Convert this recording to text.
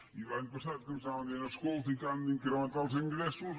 i l’any passat ens anaven dient escolti que han d’incrementar els ingressos